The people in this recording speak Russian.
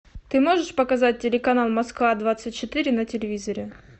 ты можешь показать телеканал москва двадцать четыре на телевизоре